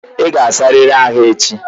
Ị ga-asarịrị ahu echi!